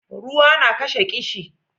ruwa na kashe kishi